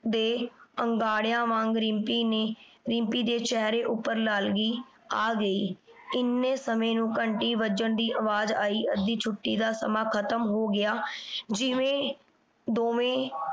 ਦੇ ਅੰਗਾੜਿਆਂ ਵਾਂਗ ਰਿੰਪੀ ਨੇ ਰਿੰਪੀ ਦੇ ਚਿਹਰੇ ਉਪਰ ਲਾਲਗੀ ਆ ਗਈ। ਇੰਨੇ ਸਮੇਂ ਨੂੰ ਘੰਟੀ ਵੱਜਣ ਦੀ ਆਵਾਜ ਆਈ। ਅੱਧੀ ਛੁੱਟੀ ਦਾ ਸਮਾਂ ਖਤਮ ਹੋ ਗਿਆ। ਜਿਵੇਂ ਦੋਵੇਂ